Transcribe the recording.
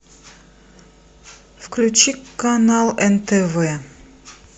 включи канал нтв